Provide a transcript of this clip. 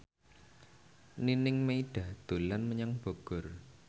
Nining Meida dolan menyang Bogor